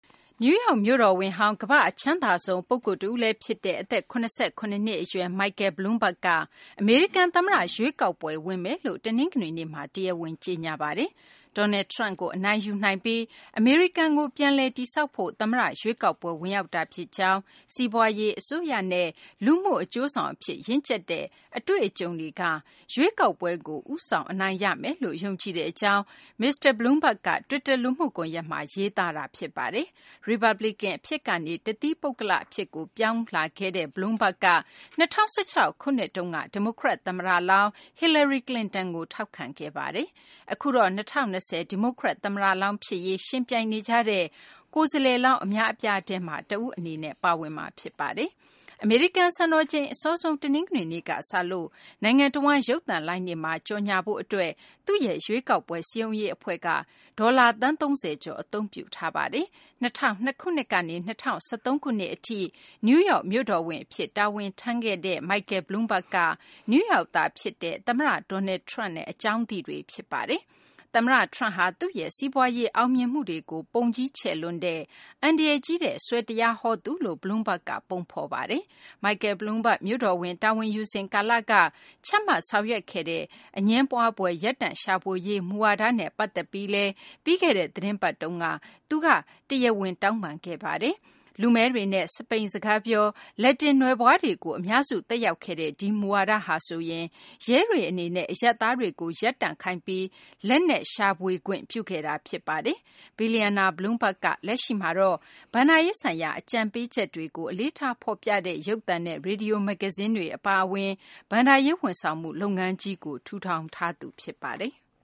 နယူးယောက်မြို့တော်ဝန်ဟောင်း၊ ကမ္ဘာ့အချမ်းသာဆုံး ပုဂ္ဂိုလ်တဦးလည်းဖြစ်တဲ့ အသက် ၇၇ နှစ်အရွယ် Michael Bloomberg က အမေရိကန် သမ္မတရွေးကောက်ပွဲ ဝင်မယ်လို့ တနင်္ဂနွေနေ့မှာ တရားဝင် ကြေညာလိုက်ပါတယ်။ Donald Trump ကို အနိုင်ယူနိုင်ပြီး အမေရိကကို ပြန်လည်တည်ဆောက်ဖို့ သမ္မတရွေးကောက်ပွဲ ဝင်ရောက်တာဖြစ်ကြောင်း၊ စီးပွားရေး၊ အစိုးရနဲ့ လူမှုအကျိုးဆောင်အဖြစ် ရင့်ကျက်တဲ့ အတွေ့အကြုံတွေက ရွေးကောက်ပွဲကို ဦးဆောင် အနိုင်ရမယ်လို့ ယုံကြည်ကြောင်း Bloomberg က တွစ်တာ လူမှုကွန်ရက်မှာ ရေးသားတာ ဖြစ်ပါတယ်။ ရီပတ်ဗလစ်ကန်ကနေ တသီးပုဂ္ဂလအဖြစ် ပြောင်းလဲခဲ့တဲ့ Bloomberg က ၂၀၁၆ ခုနှစ်တုန်းက ဒီမိုကရက် သမ္မတလောင်း Hillary Clinton ကို ထောက်ခံခဲ့သူပါ။ အခုတော့ ၂၀၂၀ ဒီမိုကရက် သမ္မတလောင်းဖြစ်ရေး ယှဉ်ပြိုင်နေကြတဲ့ ကိုယ်စားလှယ်လောင်း အများအပြားထဲမှာ တဦးအနေနဲ့ ပါဝင်မှာဖြစ်ပါတယ်။ အမေရိကန်စံတော်ချိန် အစောဆုံး တနင်္ဂနွေနေ့ကစလို့ နိုင်ငံတဝန်း ရုပ်သံလိုင်းတွေမှာ ကြော်ငြာဖို့အတွက် သူ့ရဲ့ ရွေးကောက်ပွဲ စည်းရုံးရေးအဖွဲ့က ဒေါ်လာ သန်း ၃၀ ကျော် အသုံးပြုထားပါတယ်။ ၂၀၀၂ ခုနှစ်ကနေ ၂၀၁၃ ခုနှစ်အထိ နယူးယောက် မြို့တော်ဝန်အဖြစ် တာဝန်ထမ်းခဲ့တဲ့ Michael Bloomberg က နယူးယောက်သားဖြစ်တဲ့ သမ္မတ Donald Trump နဲ့ အကြောင်းသိတွေ ဖြစ်ပါတယ်။ သမ္မတ Trump ဟာ သူ့ရဲ့ စီးပွားရေး အောင်မြင်မှုတွေကို ပုံကြီးချဲ့လွန်းတဲ့ အန္တရာယ်ကြီးတဲ့ ဆွယ်တရားဟောသူတဦးလို့ Bloomberg က ပုံဖော်ထားတာပါ။ Michael Bloomberg မြို့တော်ဝန်တာဝန်ယူစဉ် ကာလက ချမှတ်ဆောင်ရွက်ခဲ့တဲ့ အငြင်းပွားဖွယ် ရပ်တန့်ရှာဖွေရေး မူဝါဒနဲ့ ပတ်သက်ပြီးလည်း ပြီးခဲ့တဲ့ သီတင်းပတ်တုန်းက ပြန်ပြီး တရားဝင် တောင်းပန်ခဲ့ပါတယ်။ လူမည်းတွေနဲ့ စပိန်စကားပြော လက်တင်နွယ်ဖွားတွေကို အများစု သက်ရောက်ခဲ့တဲ့ ဒီမူဝါဒဟာဆိုရင် ရဲတွေအနေနဲ့ အရပ်သားတွေကို ရပ်တန့်ခိုင်းပြီး လက်နက်ရှာဖွေခွင့်ပြုခဲ့တာ ဖြစ်ပါတယ်။ ဘီလျံနာ Bloomberg က လက်ရှိမှာ ဘဏ္ဍာရေးဆိုင်ရာ အကြံပေးချက်တွေကို အလေးထား ဖော်ပြတဲ့ ရုပ်သံနဲ့ ရေဒီယို၊ မဂ္ဂဇင်းတွေ အပါအဝင် ဘဏ္ဍာရေးဝန်ဆောင်မှု လုပ်ငန်းကြီးကို ထူထောင်ထားသူ ဖြစ်ပါတယ်။